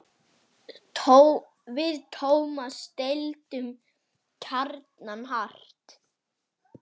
Við Tómas deildum gjarnan hart.